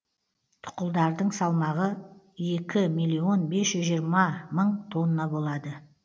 тұқылдардың салмағы екі миллион бес жүз жирыма мың тонна болады